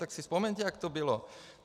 Tak si vzpomeňte, jak to bylo.